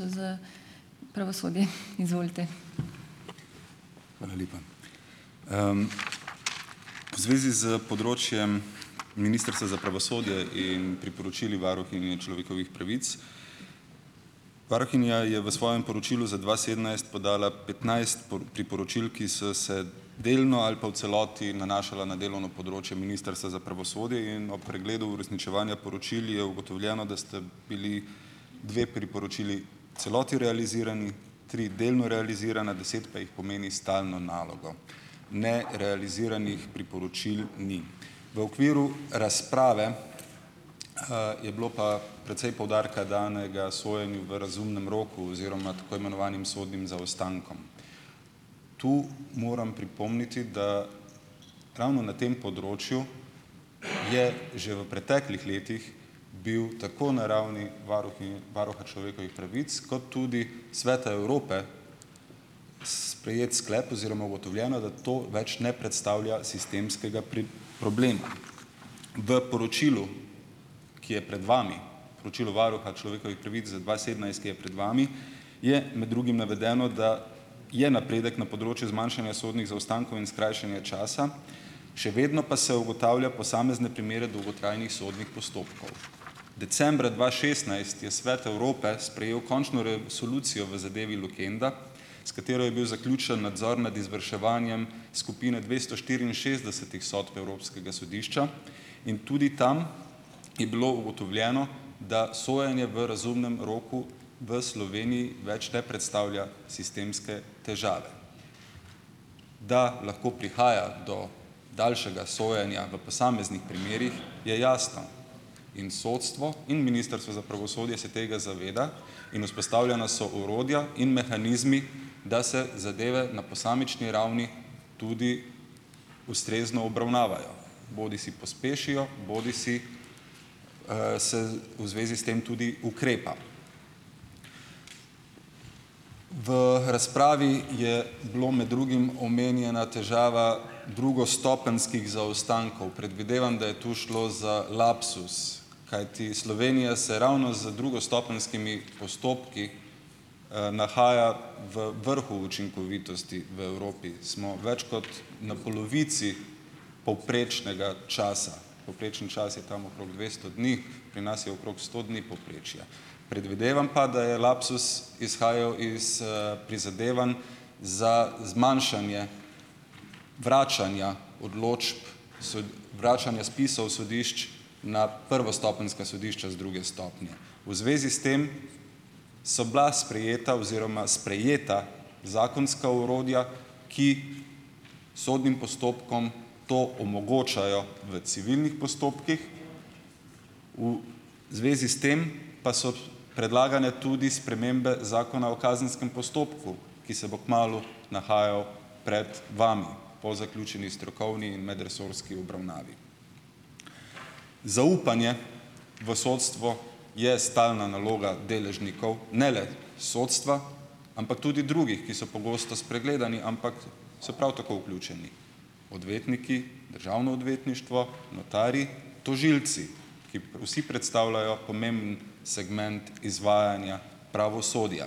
Hvala lepa. V zvezi s področjem Ministrstva za pravosodje in priporočili varuhinje človekovih pravic. Varuhinja je v svojem poročilu za dva sedemnajst podala petnajst priporočil, ki so se delno ali pa v celoti nanašala na delovno področje Ministrstva za pravosodje in ob pregledu uresničevanja poročil je ugotovljeno, da sta bili dve priporočili celoti realizirani, tri delno realizirana, deset pa jih pomeni stalno nalogo. Nerealiziranih priporočil ni. V okviru razprave je bilo pa precej poudarka danega sojenju v razumnem roku oziroma tako imenovanim sodnim zaostankom. Tu moram pripomniti, da ravno na tem področju je že v preteklih letih bil tako na ravni varuhinje, varuha človekovih pravic kot tudi Sveta Evrope sprejet sklep oziroma ugotovljeno, da to več ne predstavlja sistemskega problema. V poročilu, ki je pred vami, poročilo varuha človekovih pravic za dva sedemnajst, ki je pred vami, je med drugim navedeno, da je napredek na področju zmanjšanja sodnih zaostankov in skrajšanja časa, še vedno pa se ugotavlja posamezne primere dolgotrajnih sodnih postopkov. Decembra dva šestnajst je Svet Evrope sprejel končno resolucijo v zadevi Lukenda, s katero je bil zaključen nadzor nad izvrševanjem skupine dvesto štiriinšestdesetih sodb Evropskega sodišča, in tudi tam je bilo ugotovljeno, da sojenje v razumnem roku v Sloveniji več ne predstavlja sistemske težave. Da lahko prihaja do daljšega sojenja v posameznih primerih, je jasno. In sodstvo in Ministrstvo za pravosodje se tega zaveda in vzpostavljena so orodja in mehanizmi, da se zadeve na posamični ravni tudi ustrezno obravnavajo, bodisi pospešijo bodisi, se v zvezi s tem tudi ukrepa. V razpravi je bilo med drugim omenjena težava drugostopenjskih zaostankov. Predvidevam, da je to šlo za lapsus, kajti Slovenija se ravno z drugostopenjskimi postopki nahaja v vrhu učinkovitosti v Evropi, smo več kot na polovici povprečnega časa, povprečen čas je tam okrog dvesto dni, pri nas je okrog sto dni povprečje. Predvidevam pa, da je lapsus izhajav iz, prizadevanj za zmanjšanje vračanja odločb, vračanja spisov sodišč na prvostopenjska sodišča z druge stopnje. V zvezi s tem so bila sprejeta oziroma sprejeta zakonska orodja, ki sodnim postopkom to omogočajo v civilnih postopkih. Zvezi s tem pa so predlagane tudi spremembe Zakona o kazenskem postopku, ki se bo kmalu nahajal pred vami po zaključeni strokovni in medresorski obravnavi. Zaupanje v sodstvo je stalna naloga deležnikov, ne le sodstva, ampak tudi drugih, ki so pogosto spregledani, ampak so prav tako vključeni, odvetniki, državno odvetništvo, notarji, tožilci, ki vsi predstavljajo pomemben segment izvajanja pravosodja.